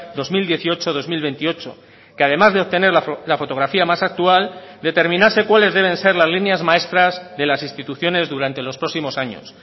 dos mil dieciocho dos mil veintiocho que además de obtener la fotografía más actual determinase cuáles deben ser las líneas maestras de las instituciones durante los próximos años